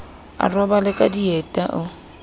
a robale ka dieta o